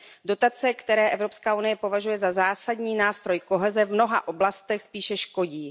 Dotace, které Evropská unie považuje za zásadní, nástroj koheze v mnoha oblastech spíše škodí.